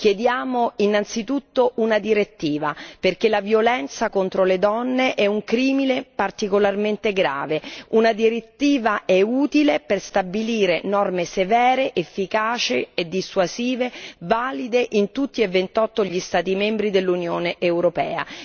Chiediamo innanzitutto una direttiva, perché la violenza contro le donne è un crimine particolarmente grave e una direttiva è utile per stabilire norme severe, efficaci e dissuasive, valide in tutti e 28 gli Stati membri dell'Unione europea.